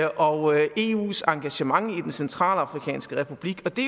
og eus engagement i den centralafrikanske republik og det